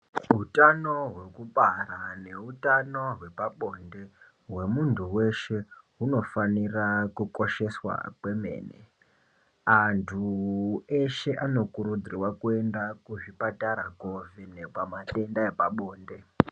Utano hwekubara neutabo hwepabonde hwemuntu weshe hunofanira kukosheswa kwemene antu eshe anokurudzirwa kuenda kuzvipatara kovhenekwa matenda epabonde.